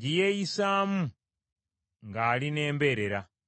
gye yeeyisaamu ng’ali n’embeerera.